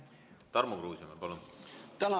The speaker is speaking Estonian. Tarmo Kruusimäe, palun!